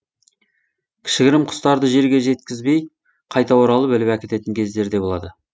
кішігірім құстарды жерге жеткізбей қайта оралып іліп әкететін кездері де болады